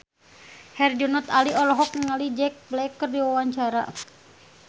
Herjunot Ali olohok ningali Jack Black keur diwawancara